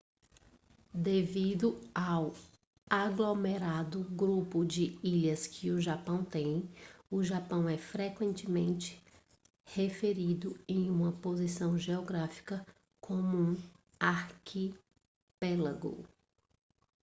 devido ao aglomerado/grupo de ilhas que o japão tem o japão é frequentemente referido em uma posição geográfica como um arquipélago